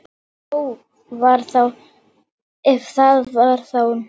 Ef það var þá nokkuð.